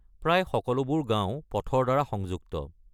প্ৰায় সকলোবোৰ গাঁও পথৰ দ্বাৰা সংযুক্ত।